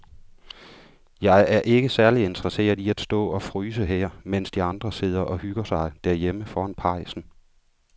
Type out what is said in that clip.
Jeg er ikke særlig interesseret i at stå og fryse her, mens de andre sidder og hygger sig derhjemme foran pejsen.